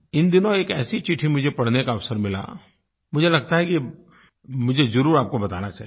इन दिनों एक ऐसी चिट्ठी मुझे पढ़ने का अवसर मिला मुझे लगता है कि मुझे ज़रूर आपको बताना चाहिए